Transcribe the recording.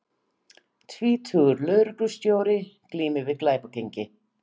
Tvítugur lögreglustjóri glímir við glæpagengi